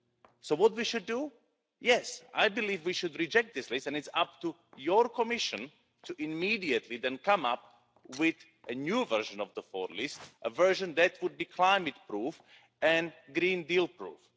So what should we do? Yes, I believe we should reject this list, and it's up to your Commission to immediately then come up with a new version of the 4th list a version that would be climate proof and Green Deal proof.